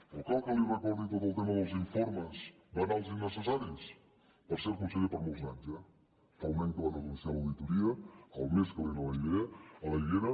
o cal que li recordi tot el tema dels informes banals i innecessaris per cert conseller per molts anys eh fa un any que van anunciar l’auditoria el més calent a l’aigüera